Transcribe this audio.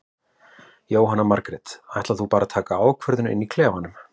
Jóhanna Margrét: Ætlar þú bara að taka ákvörðun inn í klefanum?